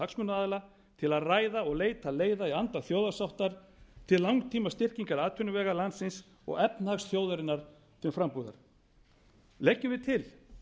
hagsmunaaðila til að ræða og leita leiða í anda þjóðarsáttar til langtímastyrkingar atvinnuvega landsins og efnahags þjóðarinnar til frambúðar leggjum við til